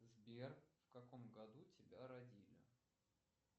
сбер в каком году тебя родили